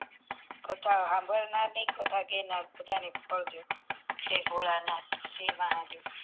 કથા હાંભળનાર ને કથા કેનાર ને બધા ને ફળ જો જાય ભોળાનાથ જય મહાદેવ